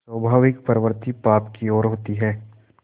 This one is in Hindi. स्वाभाविक प्रवृत्ति पाप की ओर होती है